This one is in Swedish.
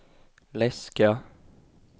läska